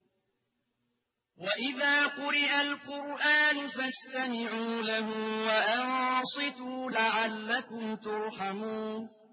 وَإِذَا قُرِئَ الْقُرْآنُ فَاسْتَمِعُوا لَهُ وَأَنصِتُوا لَعَلَّكُمْ تُرْحَمُونَ